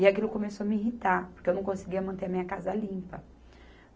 E aquilo começou a me irritar, porque eu não conseguia manter a minha casa limpa.